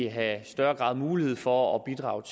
have større mulighed for at bidrage